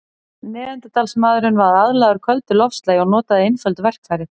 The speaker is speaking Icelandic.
Neanderdalsmaðurinn var aðlagaður köldu loftslagi og notaði einföld verkfæri.